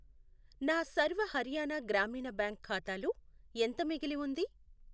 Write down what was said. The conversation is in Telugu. నా సర్వ హర్యానా గ్రామీణ బ్యాంక్ ఖాతాలో ఎంత మిగిలి ఉంది?